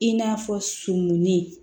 I n'a fɔ sumuni